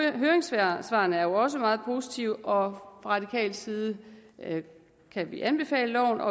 høringssvarene er også meget positive fra radikal side kan vi anbefale